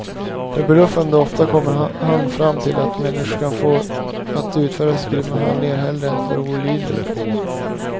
Förbluffande ofta kommer han fram till att människor kan fås att utföra grymma handlingar hellre än att vara olydiga.